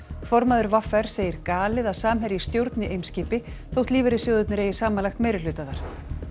formaður v r segir galið að Samherji stjórni Eimskipi þótt lífeyrissjóðirnir eigi samanlagt meirihluta þar